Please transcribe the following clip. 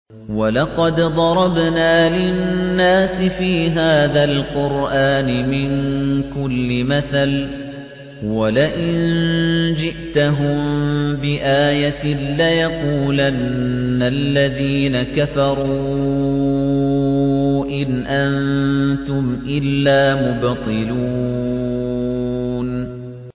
وَلَقَدْ ضَرَبْنَا لِلنَّاسِ فِي هَٰذَا الْقُرْآنِ مِن كُلِّ مَثَلٍ ۚ وَلَئِن جِئْتَهُم بِآيَةٍ لَّيَقُولَنَّ الَّذِينَ كَفَرُوا إِنْ أَنتُمْ إِلَّا مُبْطِلُونَ